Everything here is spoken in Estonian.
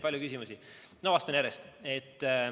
Palju küsimusi, no vastan järjest.